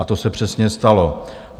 A to se přesně stalo.